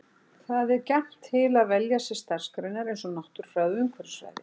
Það er gjarnt til að velja sér starfsgreinar eins og náttúrufræði og umhverfisfræði.